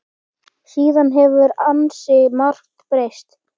Síðan hefur ansi margt breyst.